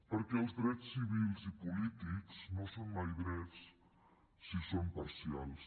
perquè els drets civils i polítics no són mai drets si són parcials